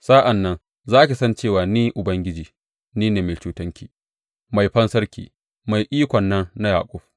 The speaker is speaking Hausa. Sa’an nan za ki san cewa ni, Ubangiji, ni ne Mai Cetonki, Mai Fansarki, Mai Ikon nan na Yaƙub.